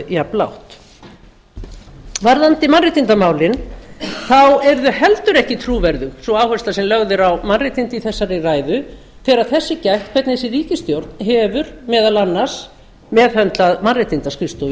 jafnlágt varðandi mannréttindamálin eru þau heldur ekki trúverðug sú áhersla sem lögð er á mannréttindi í þessari ræðu þegar þess er gætt hvernig þessi ríkisstjórn hefur meðal annars meðhöndlað mannréttindaskrifstofu